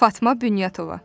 Fatma Bünyatova.